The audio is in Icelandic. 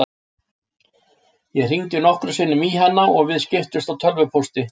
Ég hringdi nokkrum sinnum í hana og við skiptumst á tölvupósti.